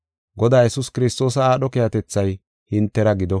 Godaa Yesuus Kiristoosa aadho keehatethay hintera gido.